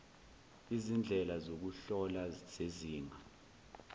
izindlela zokuhlola zezinga